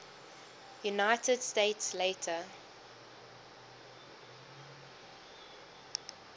united states later